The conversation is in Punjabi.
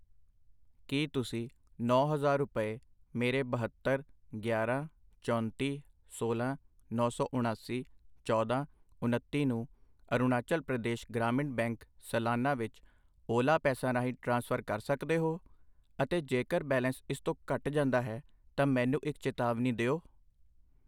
ਕੀ ਤੁਸੀਂਂ ਨੌਂ ਹਜ਼ਾਰ ਰੁਪਏ ਮੇਰੇ ਬਹੱਤਰ, ਗਿਆਰਾਂ, ਚੌਂਤੀ, ਸੋਲਾਂ, ਨੌਂ ਸੌ ਉਣਾਸੀ, ਚੌਦਾਂ, ਉਣੱਤੀ ਨੂੰ ਅਰੁਣਾਚਲ ਪ੍ਰਦੇਸ਼ ਗ੍ਰਾਮੀਣ ਬੈਂਕ ਸਲਾਨਾ ਵਿੱਚ ਓਲਾ ਪੈਸਾ ਰਾਹੀਂ ਟ੍ਰਾਂਸਫਰ ਕਰ ਸਕਦੇ ਹੋ? ਅਤੇ ਜੇਕਰ ਬੈਲੇਂਸ ਇਸ ਤੋਂ ਘੱਟ ਜਾਂਦਾ ਹੈ ਤਾਂ ਮੈਨੂੰ ਇੱਕ ਚੇਤਾਵਨੀ ਦਿਓ?